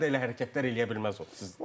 kuboklarda elə hərəkətlər eləyə bilməz o.